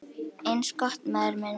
Eins gott, maður minn